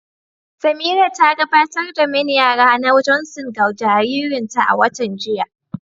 Samira ta gabatar da main yara na Johnson ga jaririnta a watan jiya.